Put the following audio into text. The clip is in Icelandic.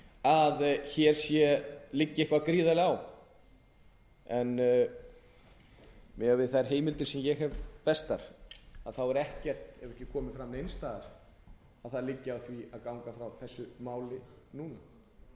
að hér liggi eitthvað gríðarlega á en miðað við þær heimildir sem ég hef bestar hefur ekki komið fram neins staðar að það liggi á því að ganga frá þessi frumvarpi núna þvert